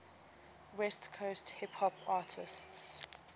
west coast hip hop artists